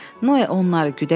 Noya onları güdəcək.